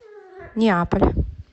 неаполь